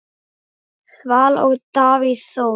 Svala og Davíð Þór.